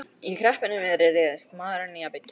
Í kreppunni miðri réðist maðurinn í að byggja.